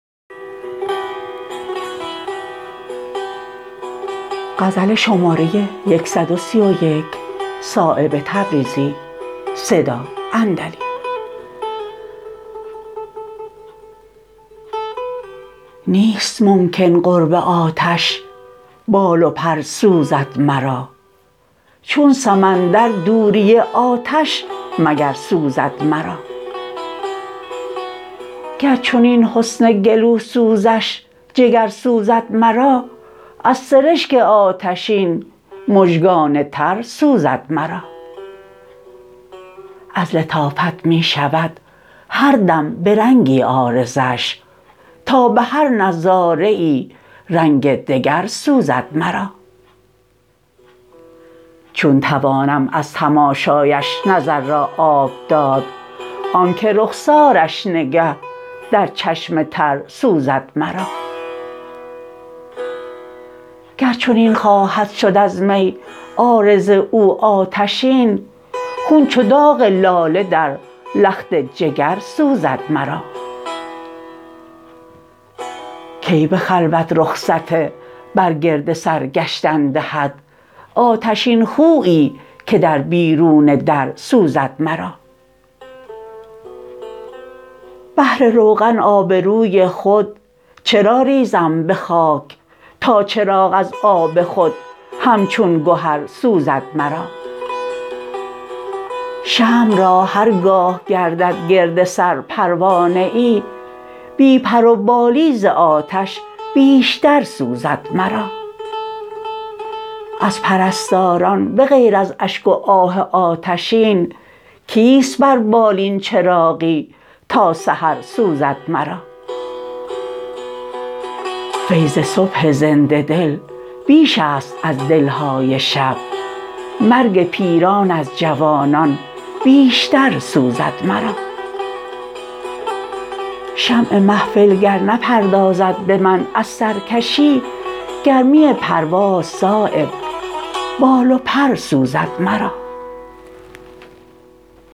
نیست ممکن قرب آتش بال و پر سوزد مرا چون سمندر دوری آتش مگر سوزد مرا گر چنین حسن گلو سوزش جگر سوزد مرا از سرشک آتشین مژگان تر سوزد مرا از لطافت می شود هر دم به رنگی عارضش تا به هر نظاره ای رنگ دگر سوزد مرا چون توانم از تماشایش نظر را آب داد آن که رخسارش نگه در چشم تر سوزد مرا گر چنین خواهد شد از می عارض او آتشین خون چو داغ لاله در لخت جگر سوزد مرا کی به خلوت رخصت بر گرد سر گشتن دهد آتشین خویی که در بیرون در سوزد مرا بهر روغن آبروی خود چرا ریزم به خاک تا چراغ از آب خود همچون گهر سوزد مرا شمع را هرگاه گردد گرد سر پروانه ای بی پر و بالی ز آتش بیشتر سوزد مرا از پرستاران به غیر از اشک و آه آتشین کیست بر بالین چراغی تا سحر سوزد مرا فیض صبح زنده دل بیش است از دل های شب مرگ پیران از جوانان بیشتر سوزد مرا شمع محفل گر نپردازد به من از سرکشی گرمی پرواز صایب بال و پر سوزد مرا